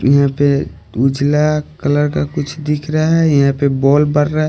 यहां पे उजला कलर का कुछ दिख रहा है यहां पे बॉल बढ़ रहा है।